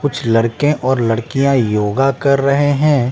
कुछ लड़के और लड़कियाँ योगा कर रहे हैं।